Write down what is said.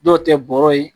Dɔw tɛ bɔrɔ ye